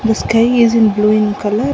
the sky is in blue in colour.